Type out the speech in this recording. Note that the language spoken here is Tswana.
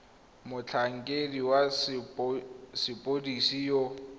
a motlhankedi wa sepodisi yo